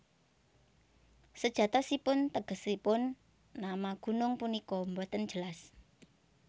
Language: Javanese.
Sejatosipun tegesipun nama gunung punika boten jelas